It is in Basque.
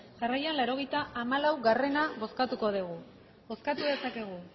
jarraian laurogeita hamalaugarrena bozkatuko dugu bozkatu dezakegu